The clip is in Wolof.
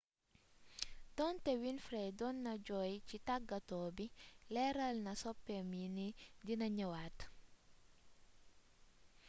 doonté winfrey doon na jooy ci tàggato bi léralna soppéem yi ni dina ñëwaat